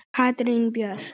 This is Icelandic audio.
Katrín Björk.